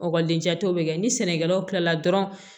Ɔkɔliden jatew bɛ kɛ ni sɛnɛkɛlaw kilala dɔrɔn